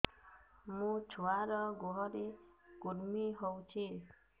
ମୋ ଛୁଆର୍ ଗୁହରେ କୁର୍ମି ହଉଚି